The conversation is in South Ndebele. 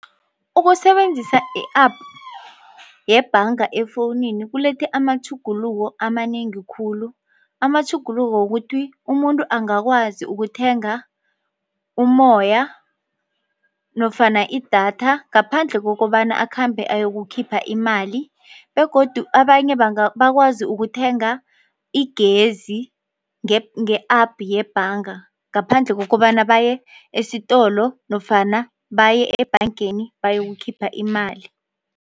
Ukusebenzisa i-App yebhanga efowunini kulethe amatjhuguluko amanengi khulu. Amatjhuguluko wokuthi umuntu angakwazi ukuthenga umoya nofana idatha ngaphandle kokobana akhambe ayokukhipha imali begodu abanye bakwazi ukuthenga igezi nge-App yebhanga ngaphandle kokobana baye esitolo nofana baye ebhangeni bayokukhipha imali.